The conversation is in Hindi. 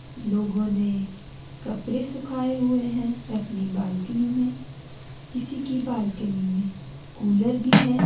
लोगों ने कपड़े सुखाए हुए हैं अपनी बालकनी में किसी की बालकनी में कूलर भी है।